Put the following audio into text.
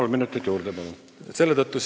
Kolm minutit juurde, palun!